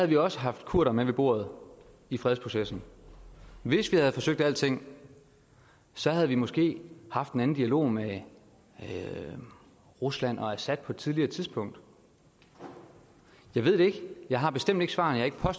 vi også haft kurdere med ved bordet i fredsprocessen hvis vi havde forsøgt alting havde vi måske haft en anden dialog med rusland og assad på et tidligere tidspunkt jeg ved det ikke jeg har bestemt ikke svarene jeg har